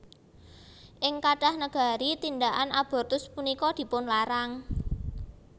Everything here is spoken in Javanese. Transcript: Ing kathah negari tindhakan abortus punika dipunlarang